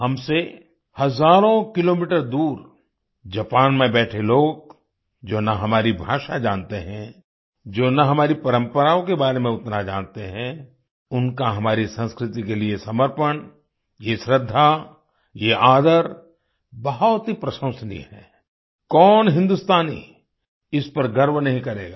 हमसे हज़ारों किलोमीटर दूर जापान में बैठे लोग जो न हमारी भाषा जानते हैं जो न हमारी परम्पराओं के बारे में उतना जानते हैं उनका हमारी संस्कृति के लिए समर्पण ये श्रद्धा ये आदर बहुत ही प्रशंसनीय है कौन हिन्दुस्तानी इस पर गर्व नही करेगा